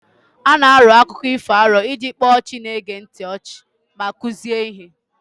A na-arọ akụkọ ifo arọ iji kpaa ọchị na-ege ntị ọchị ma kụzie ihe.